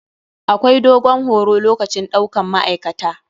Akwai dogon horo lokacin ɗaukan ma'aikata.